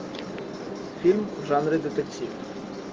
фильм в жанре детектив